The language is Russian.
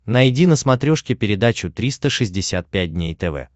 найди на смотрешке передачу триста шестьдесят пять дней тв